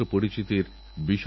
তোমাদেরকীর্তির নিশানায়